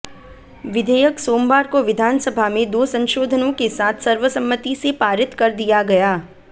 विधेयक सोमवार को विधानसभा में दो संशोधनों के साथ सर्वसम्मति से पारित कर दिया गया